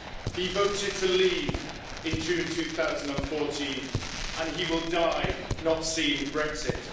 He voted to leave in June 2016 and he will die not seeing Brexit.